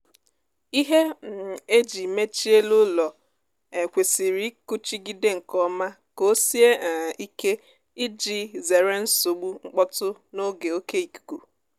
ihe um e ji mechie elu ụlọ um kwesịrị ịkụchigide nkeọma ka ọ sie um ike ịji zere nsogbu mkpọtụ n'oge oké ikuku